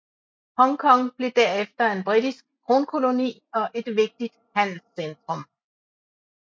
Hongkong blev derefter en britisk kronkoloni og et vigtigt handelscentrum